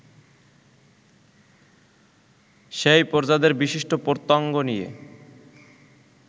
সেই প্রজাদের বিশিষ্ট প্রত্যঙ্গ নিয়ে